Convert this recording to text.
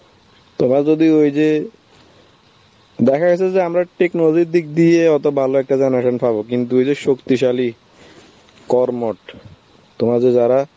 তোমার যদি ওই যে~ দেখা গেছে যে আমরা technology র দিক দিয়ে অত ভালো একটা generation পাবো কিন্তু ওই যে শক্তিশালী করমোট, তোমরা যে যারা